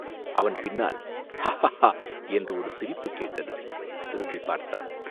அவன் பின்னால் "ஹா ஹா ஹா!" என்ற ஒரு சிரிப்புக் கேட்டது திரும்பிப் பார்த்தான்.